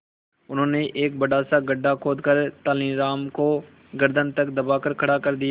उन्होंने एक बड़ा सा गड्ढा खोदकर तेलानी राम को गर्दन तक दबाकर खड़ा कर दिया